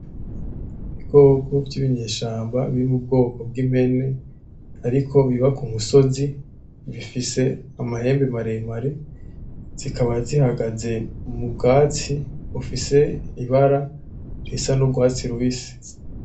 Ibikoko vyibinyeshamba biri mubwoko bwimpene ariko biba kumusozi, bifise amahembe maremare, zikaba zihagaze mubwatsi bufise ibara isa nurwatsi rubisi.